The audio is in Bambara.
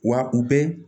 Wa u bɛ